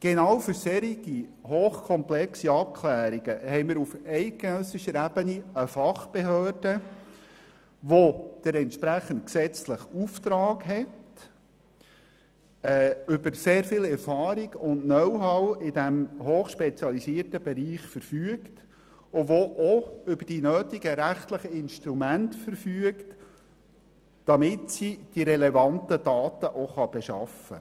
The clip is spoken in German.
Genau für solch hochkomplexe Abklärungen haben wir auf eidgenössischer Ebene eine Fachbehörde, die den entsprechenden gesetzlichen Auftrag hat, über sehr viel Erfahrung und Know-how in diesem hochspezialisierten Bereich verfügt und die auch die notwendigen rechtlichen Instrumente hat, um die relevanten Daten zu beschaffen.